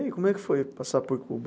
E aí, como é que foi passar por Cuba?